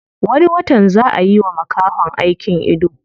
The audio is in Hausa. Wani watan zaa a yiwa makahon aikin ido.